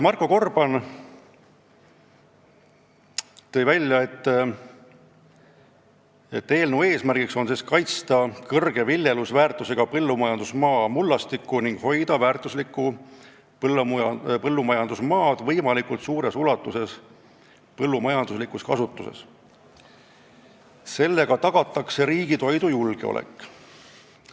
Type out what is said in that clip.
Marko Gorban ütles, et eelnõu eesmärk on kaitsta kõrge viljelusväärtusega põllumajandusmaa mullastikku ning hoida väärtuslikku maad võimalikult suures ulatuses põllumajanduslikus kasutuses, sest sellega tagatakse riigi toidujulgeolek.